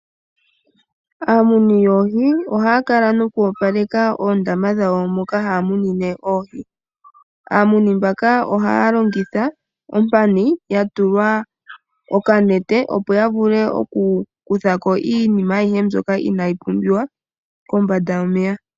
Aamuni yoohi ohaya kala noku opaleka oondama dhawo moka haya munine oohi. Aamuni mbaka ohaya longitha ompani ya tulwa okanete opo ya vule oku kutha ko iinima ayihe mbyoka inayi pumbiwa kombanda yomeya.